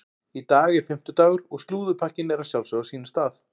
Í dag er fimmtudagur og slúðurpakkinn er að sjálfsögðu á sínum stað.